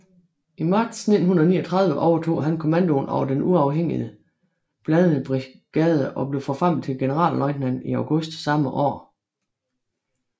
I marts 1939 overtog han kommandoen over den uafhængige blandede brigade og blev forfremmet til generalløjtnant i august samme år